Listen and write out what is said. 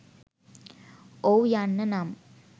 ඔවු යන්න නම්